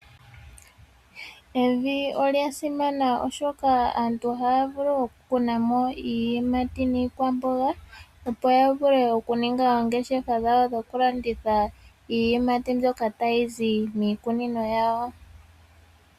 Evi lya simana , oshoka aantu ohaa vulu okukuna mo iiyimati niikwamboga, opo ya vule okuninga oongesha dhawo dhokulanditha iiyimati mbyoka tayi zi miikunino yawo.